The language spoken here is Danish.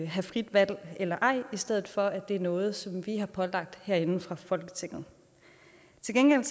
have frit valg eller ej i stedet for at det er noget som vi har pålagt herinde fra folketinget til gengæld